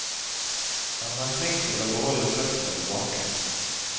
Han er flink til å beholde føttene på bakken.